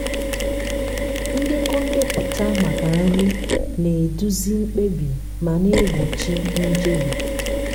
ndekọ ndepụta maka nri na-eduzi mkpebi ma na-egbochi njehie.